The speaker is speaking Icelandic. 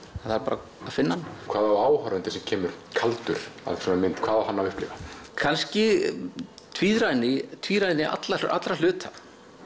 það þarf bara að finna hann hvað á áhorfandi sem kemur kaldur að svona mynd hvað á hann að upplifa kannski tvíræðni tvíræðni allra allra hluta